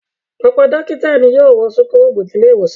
Ọ̀pọ̀ dókítà ni yóò wọ súkúrọ́bù ní ilé-ìwòsàn.